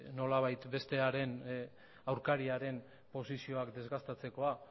nolabait bestearen aurkariaren posizioak desgastatzekoa